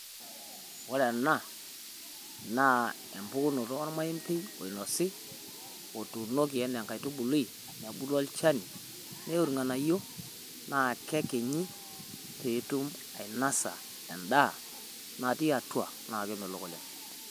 Ore ena naa empukunooto olmaepei oinosi otuunoki ena nkaatubulii nabuluu elchaani neuu ng'anayoo naa kekinyii pee ituum anaisa endaa natii atua na kemelook oleng.